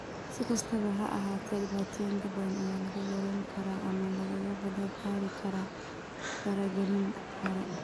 Si kastaba ha ahaatee, dhibaatooyin badan ayaa la yarayn karaa ama lagaga badbaadi karaa faragelin hore.